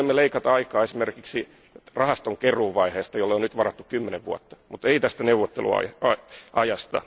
Me voimme leikata aikaa esimerkiksi rahastonkeruuvaiheesta, jolle on nyt varattu 10 vuotta, mutta ei tästä neuvotteluajasta.